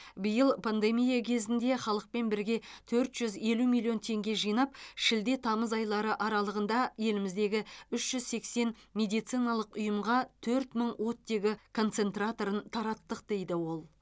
биыл пандемия кезінде халықпен бірге төрт жүз елу миллион теңге жинап шілде тамыз айлары аралығында еліміздегі үш жүз сексен медициналық ұйымға төрт мың оттегі концентраторын тараттық дейді ол